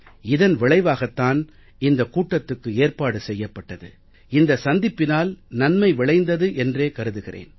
இதன் விளைவாகத்தான் இந்தக் கூட்டத்துக்கு ஏற்பாடு செய்யப்பட்டது இந்த சந்திப்பினால் நன்மை விளைந்தது என்று கருதுகிறேன்